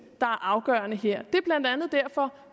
er afgørende her det er blandt andet derfor